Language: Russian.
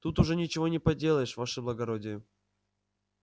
тут уж ничего не поделаешь ваше благородие